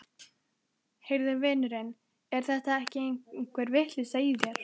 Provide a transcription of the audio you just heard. Heyrðu vinurinn, er þetta ekki einhver vitleysa í þér?